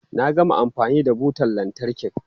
Na gama amfani da butan lantarkin.